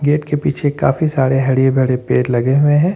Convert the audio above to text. Gate के पीछे काफी सारे हर भरे पेड़ लगे हुए हैं।